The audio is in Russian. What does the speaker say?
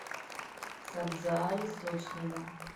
сабзаали сочнева